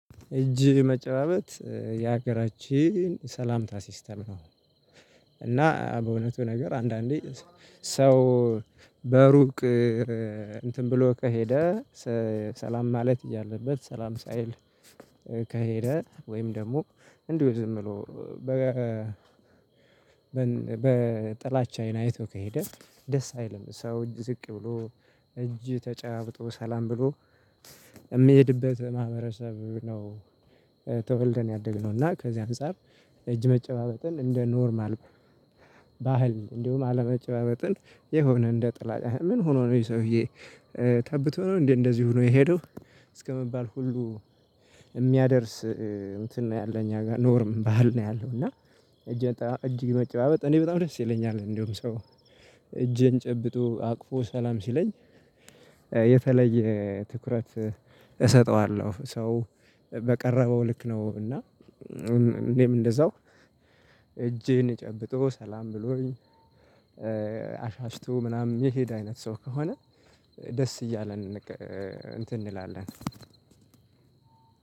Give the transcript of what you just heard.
እጅ መጨባበጥ የሀገራችን ሰላምታ ሲስተም ነው። እና በእውነቱ ነገር አንዳንዴ ሰው በሩቅ እንትን ብሎ ከሄደ ሰላም ማለት እያለበት ሰላም ሳይል ከሄደ ወይም ደግሞ እንዲሁ ዝም ብሎ በ በጥላቻ አይን አይቶ ከሄደ ደስ አይልም ሰው ዝቅ ብሎ እጅ ተጨባብጥ ሰላም ብሎ የምሄድበት ማህበረሰብ ነው። ተወልደን ያደግነው እና ከዚህ አንፃር እጅ መጨባበጥን እንደ ኖርማል ባህል እንዲሁም አለመጨባበጥን የሆነ እንደ ጥላቻ ምን ሆኖ ነው ይሄ ሰውዬ ተብቶ ነው እንዴ እንደዚህ ሆኖ የሄደው እስከመባል ሁሉ የሚያደርስ እንትን ነው ያለ እኛ ጋር ኖርም ባህል ነው ያለው እና። እጅን መጨባበጥ እኔ በጣም ደስ ይለኛል እንደውም ሰው እጅን ጨብጦ አቅፎ ሰላም ሲለኝ የተለየ ትኩረት እሰጠዋለሁ። ሰው በቀረበው ልክ ነው። እና እኔም እንደዛው እጄን ጨብጦ ሰላም ብሎኝ አሻሽቶ ምናምን የሄድ አይነት ሰው ከሆነ ደስ እያለን እንትን እንላለን።